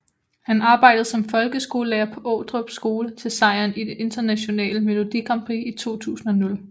Han arbejdede som folkeskolelærer på Ordrup Skole til sejren i det internationale Melodi Grand Prix i 2000